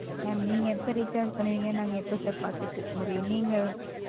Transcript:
Sir நீங்க எப்ப Recharge பண்ணுவீங்கன்னு நாங்க எப்படி Sir பாத்துட்டு இருக்க முடியும். நீங்க,